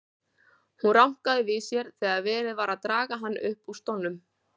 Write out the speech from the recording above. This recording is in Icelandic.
Hann rankaði við sér þegar verið var að draga hann upp úr stólnum.